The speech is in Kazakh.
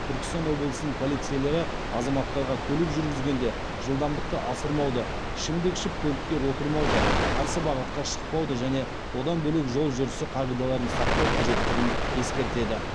түркістан облысының полицейлері азаматтарға көлік жүргізгенде жылдамдықты асырмауды ішімдік ішіп көлікке отырмауды қарсы бағытқа шықпауды және одан бөлек жол жүрісі қағидаларын сақтау қажеттігін ескертеді